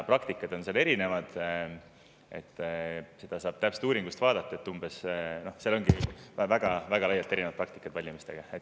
Praktikad on erinevad, seda saab uuringust täpselt vaadata, et ongi väga-väga erinevad praktikad valimistel.